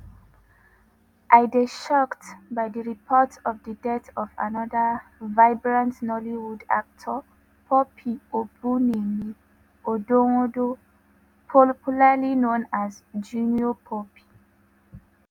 “i dey shocked by di reports of di death of anoda vibrant nollywood actor pope obumneme odonwodo popularly known as junior pope.